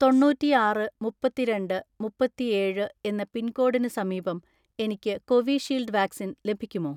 തൊണ്ണൂറ്റിആറ് മുപ്പത്തിരണ്ട് മുപ്പത്തിഏഴ് എന്ന പിൻകോഡിന് സമീപം എനിക്ക് കോവിഷീൽഡ് വാക്സിൻ ലഭിക്കുമോ?